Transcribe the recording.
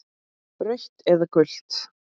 Rautt eða gult?